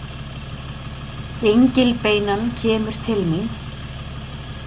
Gengilbeinan kemur til mín.